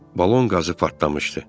Balon qazı partlamışdı.